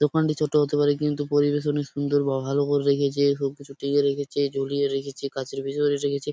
দোকানটি ছোট হতে পারে কিন্তু পরিবেশ অনেক সুন্দর বা ভালো করে রেখেছে । সবকিছু ঢেকে রেখেছে ঝুলিয়ে রেখেছে কাছের ভিতরে রেখেছে ।